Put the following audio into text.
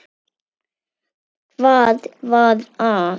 Hvað var að?